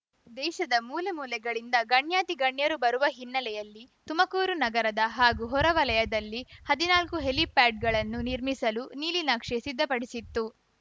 ದೇಶದ ಮೂಲೆ ಮೂಲೆಗಳಿಂದ ಗಣ್ಯಾತಿಗಣ್ಯರು ಬರುವ ಹಿನ್ನೆಲೆಯಲ್ಲಿ ತುಮಕೂರು ನಗರದ ಹಾಗೂ ಹೊರವಲಯದಲ್ಲಿ ಹದಿನಾಲ್ಕು ಹೆಲಿಪ್ಯಾಡ್‌ಗಳನ್ನು ನಿರ್ಮಿಸಲು ನೀಲಿನಕ್ಷೆ ಸಿದ್ಧಪಡಿಸಿತ್ತು